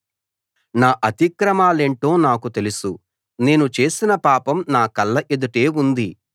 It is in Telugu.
నా అతిక్రమాలేంటో నాకు తెలుసు నేను చేసిన పాపం నా కళ్ళ ఎదుటే ఉంది